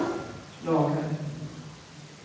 lagar